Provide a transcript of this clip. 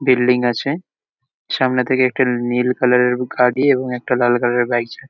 building আছে সামনে থেকে একটা নীল কালার -এর গাড়ি এবং একটা লাল কালার -এর গাড়ি ছে --